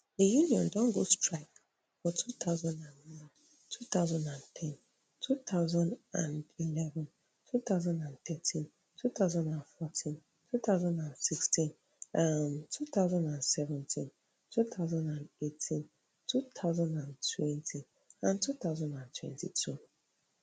di union don go on strike for two thousand and nine two thousand and ten two thousand and eleven two thousand and thirteen two thousand and fourteen two thousand and sixteen um two thousand and seventeen two thousand and eighteen two thousand and twenty and two thousand and twenty-two